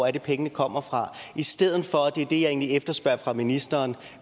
er pengene kommer fra i stedet for og det er det jeg egentlig efterspørger fra ministeren